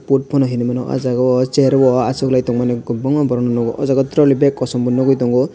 port phano hinuimano ah jaga o chairo bo achuklai tongmani kwbangma borokno nukgo o jaga trolly bag kosom bo nugui tongo.